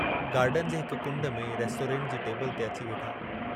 Garden जे हिक कुंड में रेस्टोरेंट जी टेबल ते अची वेठा।